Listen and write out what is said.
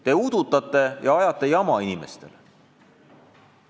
Te udutate ja ajate inimestele jama.